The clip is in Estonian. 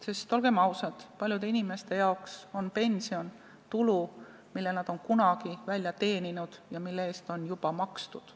Sest olgem ausad, paljude jaoks on pension tulu, mille nad on kunagi välja teeninud ja mille eest on juba makstud.